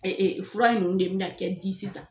fura in ninnu de bɛ na kɛ di sisan.